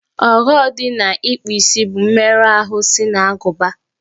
Ọghọ dị na ịkpụ isi bụ mmerụ ahụ si n'agụba